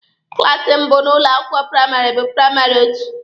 Klaasi mbụ n'ụlọ akwụkwọ praịmarị bụ praịmarị otu.